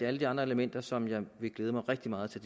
alle de andre elementer som jeg vil glæde mig rigtig meget til